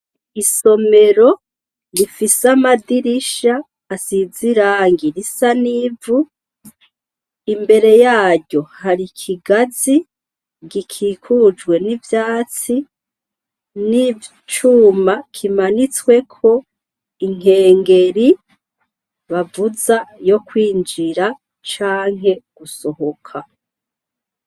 Isomero rifise amadirisha asiziranga irisa n'ivu imbere yaryo hari ikigazi gikikujwe n'ivyatsi n'icuma kimanitsweko inkengeri bavuza yo kwinjira canke gusohoka.